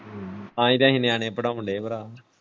ਹਮ ਹਮ ਤਾਂ ਹੀ ਤਾਂ ਅਸੀਂ ਨਿਆਣੇ ਪੜਾਉਣ ਦੇ ਭਰਾ।